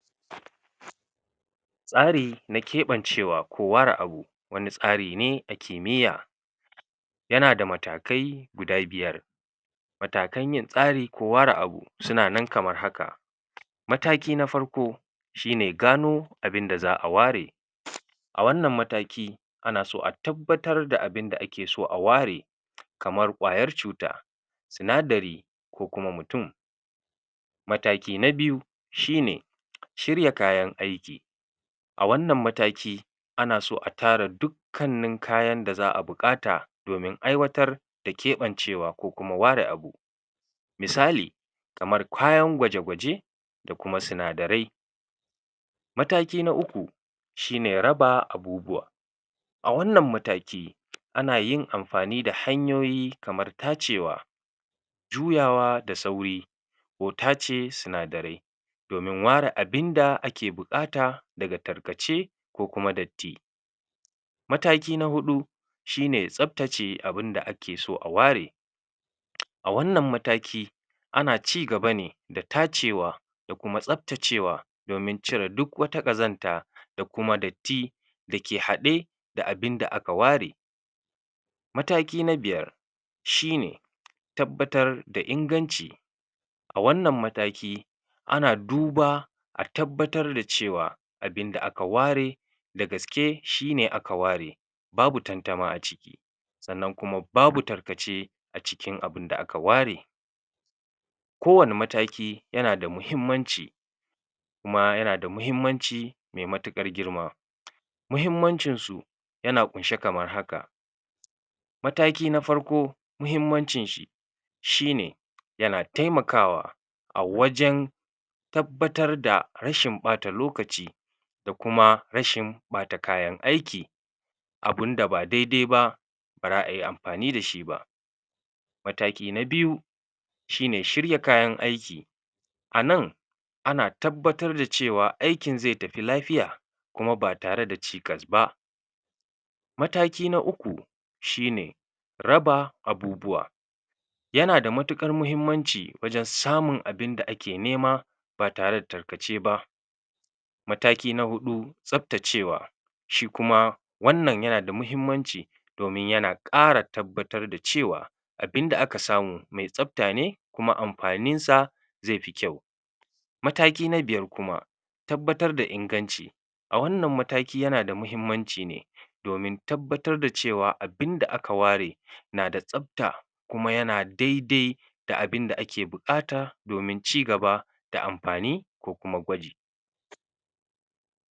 tsari na keɓancewa ku ware abu wani tsarine na kimyya yanada matakai yana da matakai guda biyar matakan yin tsari ku ware abu sunan kamar haka mataki na farko shine gano abinda za'a ware a wanan mataki anaso a tabbatar da abinda akeso aware kamar ƙwayar cuta sinadari ko kuma mutun mataki na biyu shine shirya kayan aiki a wanan mataki ana so a tara duk kannin kayan da za'a buƙata domin aiwatar da keɓancewa ko kuma ware abu misali kamar kayan gwaje gwaje da kuma sinadarai mataki na uku shine raba abubuwa a wannan mataki anayin anfani da hanyoyi kamar tacewa juyawa da sauri ko tace sinadarai domin ware abinda ake nema daga tarkace ko kuma datti mataki na huɗu shine tsabtace abun da akeso a ware a wanan mataki ana cigaba ne da tacewa kuma tsabtacewa domin cire duk wata ƙazanta dakuma datti dake haɗe da abinda aka ware mataki biyar shine tabbatar da inganci a wanan ana duba a tabbatar da cewa abinda aka ware da gaske shine aka ware babu tantama aciki sanan kuma babu tarkace acikin abun da aka ware kowani mataki yanada muhimmanci ma yanada muhimmanci me matukar girma muhimmanci yana kunshe kamar haka mataki na farko muhimmanci shine yana temakawa a wajan tabbatar da rashin ɓata lokaci da kuma rashin ɓata kayan aiki abunda ba daidai ba bara ayi anfani da shiba mataki na biyu shine shirya kayan aiki ana ana tabbatar da cewa aikin ze tafi lafiya kuma batare da chikas ba mataki na uku raba abubuwa yanada matukar mahimmanci wajan samun abinda ake nema batare da tarkace ba mataki na huɗu tsabtacewa shikuma wannan yanada mahimmanc domin yana ɗara tabbatar da cewa abinda aka samu me tsabta ne kuma anfanin sa zefi kyau mataki na biyar kuma tabbatr da inganci a wanan mataki yanada muhimmanci ne domin tabbatrar da cewa abinda aka ware nada tsabta kuma yana dai dai da abinda ake bukata domin cigaba da anfani ko kuma gwaj